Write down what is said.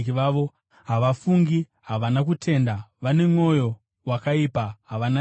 havafungi, havana kutenda, vane mwoyo wakaipa, havana tsitsi.